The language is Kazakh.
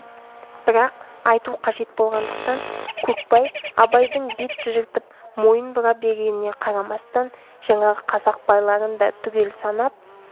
бірақ айту қажет болғандықтан көкбай абайдың бет тыжыртып мойын бұра бергеніне қарамастан жаңағы қазақ байларын да түгел санап